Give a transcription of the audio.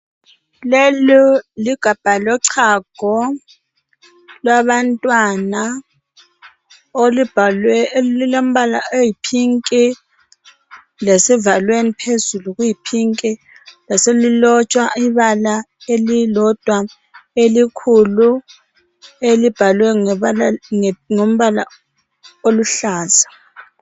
Leli ligabha lochago lwabantwana lulombala oyipink lesivalweni phezulu luyipink laselilotshwa ibala elilodwa elikhulu elibhalwe ngombala oluhlaza.